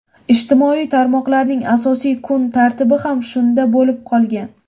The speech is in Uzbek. Ijtimoiy tarmoqlarning asosiy kun tartibi ham shunda bo‘lib qolgan.